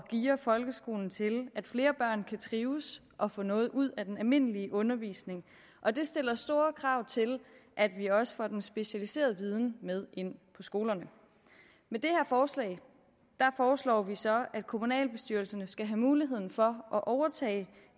geare folkeskolen til at flere børn kan trives og få noget ud af den almindelige undervisning og det stiller store krav til at vi også får den specialiserede viden med ind på skolerne med det her forslag foreslår vi så at kommunalbestyrelserne skal have mulighed for at overtage